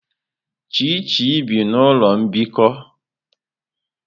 Chichi bi n'ụlọ mbikọ.